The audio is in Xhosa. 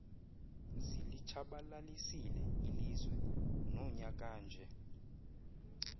zilitshabalalisile ilizwe nonyakanje